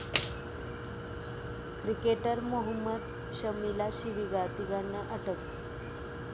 cricketer Mohammed शमीला शिवीगाळ, तिघांना अटक